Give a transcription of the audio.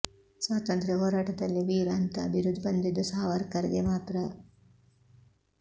ಸ್ವಾತಂತ್ರ್ಯ ಹೋರಾಟದಲ್ಲಿ ವೀರ್ ಅಂತಾ ಬಿರುದು ಬಂದಿದ್ದು ಸಾವರ್ಕರ್ ಗೆ ಮಾತ್ರ